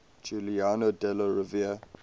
giuliano della rovere